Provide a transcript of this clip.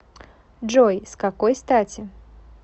джой с какой стати